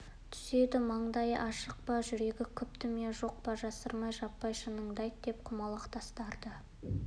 түседі маңдайы ашық па жүрегі күпті ме жоқ па жасырмай-жаппай шыныңды айт деп құмалақ тастарды